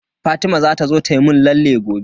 Fatima za ta zo ta mun lalle gobe.